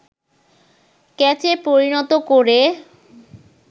ক্যাচে পরিণত করে